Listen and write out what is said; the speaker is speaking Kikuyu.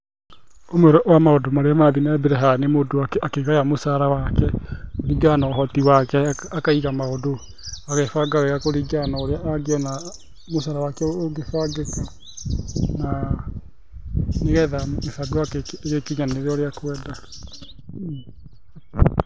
Ũmwe wa maũndũ marĩa marathiĩ na mbere haha nĩ mũndũ akigaya mũcara wake, kũringana na ũhoti wake akaiga maũndũ agebanga wega kũringana na ũrĩa angĩona mũcara wake ũngĩbangĩka. Na nĩgetha mĩbango yake ĩgĩkinyanĩre ũrĩa ekwenda.